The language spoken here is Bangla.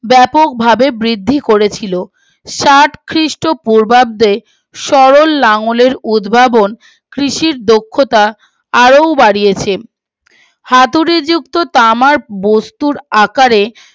ব্যাপকভাবে বৃদ্ধি করেছিল ষাট খ্রীষ্ট পূর্বাব্দে সরল লাঙলের উদ্ভাবন কৃষির দক্ষতা আরো বাড়িয়েছে হাতুড়ী যুক্ত তামার বস্তুর আকারে